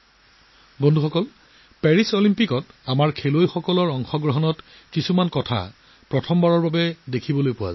বন্ধু বান্ধৱীসকল পেৰিছ অলিম্পিকত প্ৰথমবাৰৰ বাবে কিছুমান নতুন সংযোজন দেখিবলৈ পাব